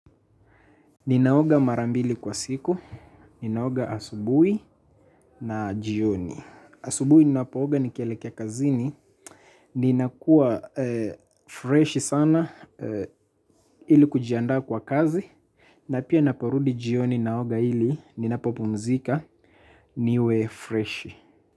Ninaoga mara mbili kwa siku, ninaoga asubuhi na jioni. Asubuhi ninapooga nikielekea kazini, ninakua fresh sana ili kujiaanda kwa kazi na pia ninaparudi jioni naoga ili ninapopumzika niwe fresh.